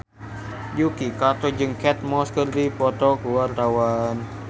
Yuki Kato jeung Kate Moss keur dipoto ku wartawan